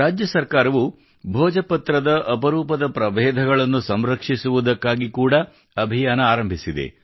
ರಾಜ್ಯ ಸರ್ಕಾರವ ಭೋಜಪತ್ರದ ಅಪರೂಪದ ಪ್ರಬೇಧಗಳನ್ನು ಸಂರಕ್ಷಿಸುವುದಕ್ಕಾಗಿ ಕೂಡಾ ಅಭಿಯಾನ ಆರಂಭಿಸಿದೆ